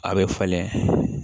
A bɛ falen